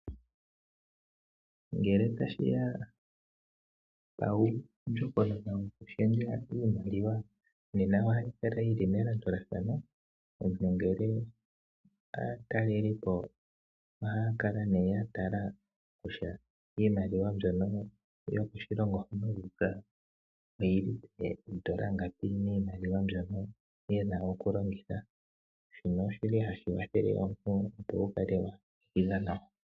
Ngele tashi ya pandjokokona yokushendja iimaliwa ohayi kala yi li melandulathano. Ngele aatalelipo ohaya kala ya tala kutya iimaliwa yokoshilongo hono yu uka oyi li poondola ngapi miimaliwa mbyono ye na okulongitha, shino ohashi kwathele omuntu, opo wu kale wa ninga nawa.